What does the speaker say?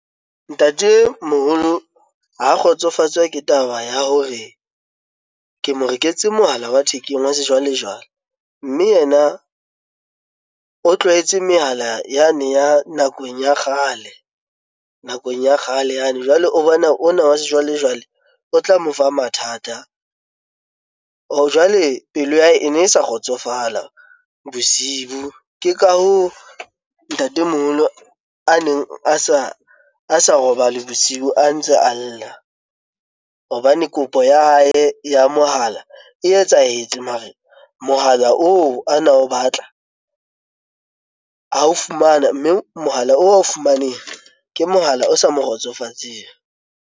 Ntatemoholo ha kgotsofatswa ke taba ya hore ke mo reketse mohala wa thekeng wa sejwalejwale, mme yena o tlwaetse mehala yane ya nakong ya kgale nakong ya kgale yane jwale o bona ona wa sejwalejwale o tla mo fa mathata jwale pelo ya hae e ne e sa kgotsofala bosibu ke ka hoo ntatemoholo neng a sa a sa robala bosiu a ntse a lla hobane kopo ya hae ya mohala e etsahetse mare mohala oo a na o batla ho o fumana, mme mohala oo wa ho fumaneha ke mohala o sa mo kgotsofatseng.